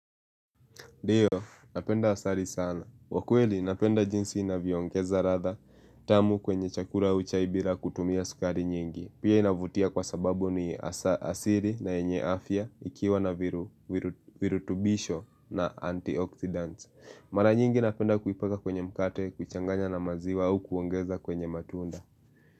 Ndio, napenda asali sana. Kwa kweli, napenda jinsi inavyoongeza ladha tamu kwenye chakula au chai bila kutumia sukari nyingi. Pia inavutia kwa sababu ni asili na yenye afya ikiwa na virutubisho na antioxidant. Mara nyingi napenda kuipaka kwenye mkate, kuchanganya na maziwa au kuongeza kwenye matunda.